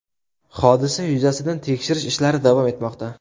Hodisa yuzasidan tekshirish ishlari davom etmoqda.